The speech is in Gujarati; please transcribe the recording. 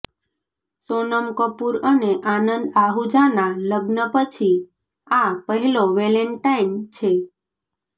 સોનમ કપૂર અને આનંદ આહુજાના લગ્ન પછી આ પહેલો વેલેન્ટાઈન છે